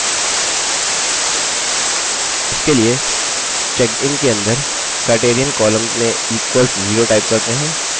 इसके लिए checkedin के अंदर criterion column में equals 0 type करते हैं